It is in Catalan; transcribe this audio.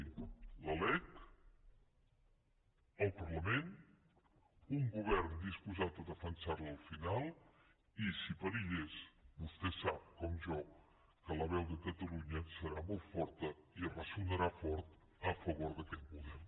la lec el parlament un govern disposat a defensar la al final i si perillés vostè sap com jo que la veu de catalunya serà molt forta i ressonarà fort a favor d’aquest model